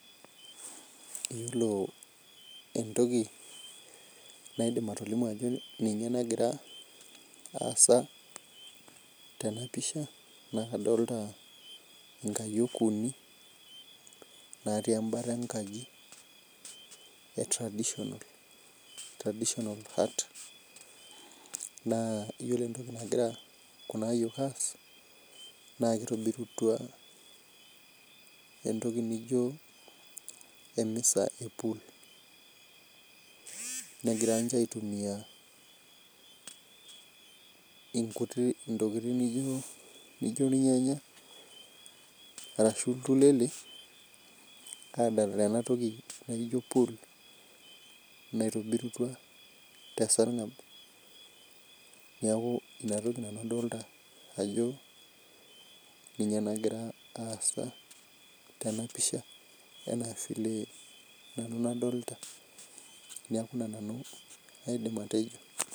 Yiolo entoki enaidim atolimu ajo ninye nagira aasa tenepisha na kadolta nkayiok uni natii enkalo enkaji e traditional hut na iyiolo entoki nahira kunaayiok aas na kitobitua entoki nino emisa epul negira aitumia ntokitin naijo irnyanya ashu intulele adalaee enatoki nikijo pul naitobirutia tesargab inatoki nanu adolta ajo ninye nagira aasa tenapisha neaku ina nanu aidim atejo.